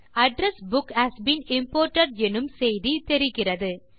address book has been imported எனும் செய்தி தெரிகிறது